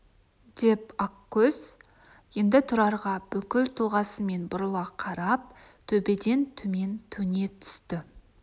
деп ақкөз енді тұрарға бүкіл тұлғасымен бұрыла қарап төбеден төмен төне түсті